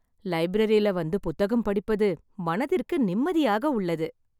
லைப்ரரில வந்து புத்தகம் படிப்பது மனதிற்கு நிம்மதியாக உள்ளது.